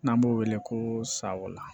N'an b'o wele ko sawa